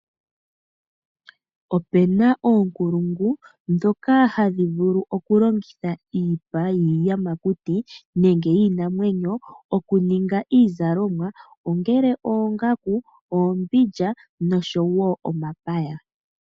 Opena oonkulungu dhoka hadhi vulu okulongitha iipa yiiyamakuti nenge yiinamwenyo okuninga iizalomwa ongele oongaku, oombindja nosho wo omapaya.